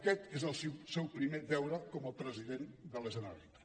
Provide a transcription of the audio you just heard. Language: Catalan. aquest és el seu primer deure com a president de la generalitat